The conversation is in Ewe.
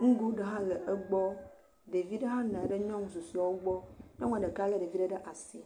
nugo gã aɖe hã le egbɔ, ɖevi ɖe hãle le nyɔnua ɖeka gbɔ, nyɔnua ɖeka lé ɖevi ɖe ɖe asi.